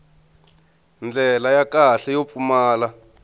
ndlela ya kahle yo pfumala